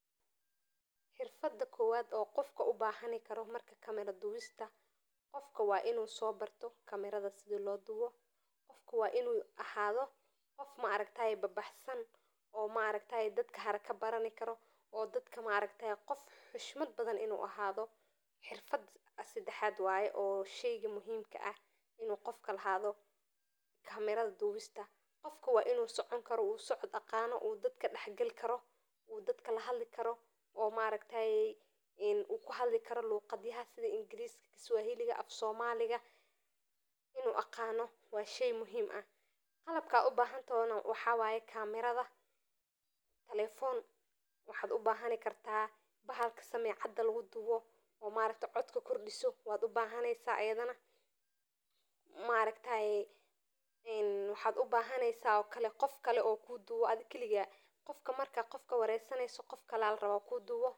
Xirfada kowaad oo qofka ubahani karo kamera duwista wa inusobarto sida lobarte oo qof haraka wax barani karo noqdo bulshada wax utarayo oo dadk dexgali karo oo qof ingiiris sawaxili aqano oo kahadli karo wa shey muhiim ah qalabka ubahantana wa camerada telefone bahalka samecada lugudubo waxa kalo ubahaneysa qof wax oo kuqabto bahasha wax lugudubayo.